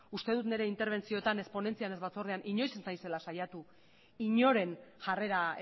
uste dut nire interbentziotan ez ponentzian ez batzordean inoiz ez dela saiatu inoren jarrera